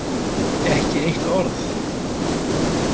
Ekki eitt orð.